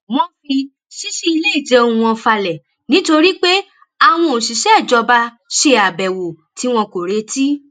wọ́n fi ṣíṣí ilé ìjẹun wọn falẹ̀ nítorí pé àwọn òṣìṣẹ́ ìjọba ṣe àbèwò tí wọn kò retí